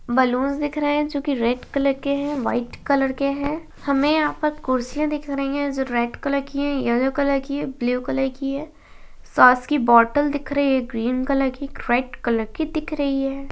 Balloons दिख रहे हैं जो की रेड कलर के हैं वाइट कलर के हैं हमें यहाँ पर कुर्सियां दिख रही हैं जो रेड कलर की हैं यलो कलर की हैं ब्लू कलर की हैं सॉस की बोटल दिख रही हैं ग्रीन कलर की रेड कलर की दिख रही हैं।